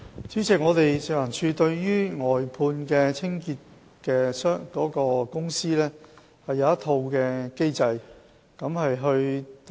主席，食環署對於外判的清潔公司設有一套機制。